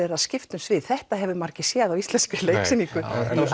er skipt um svið þetta hafa margir ekki séð í íslenski leiksýningu